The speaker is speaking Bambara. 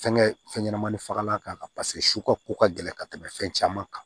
Fɛnkɛ fɛn ɲɛnɛmani fagalan k'a la paseke su ka ko ka gɛlɛn ka tɛmɛ fɛn caman kan